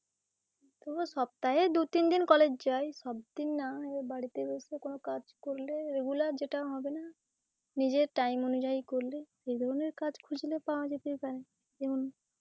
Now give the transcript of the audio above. সপ্তাহে দু তিন দিন college যাই সব দিন না বাড়িতে বসে কোনো কাজ করলে regular যেটা হবে না, নিজের টাইম অনুজাই করলে, এই ধরনের কাজ খুঁজলে পাওয়া যেতেই পারে